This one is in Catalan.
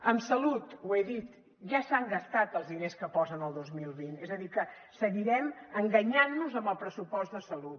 en salut ho he dit ja s’han gastat els diners que posen al dos mil vint és a dir que seguirem enganyant nos amb el pressupost de salut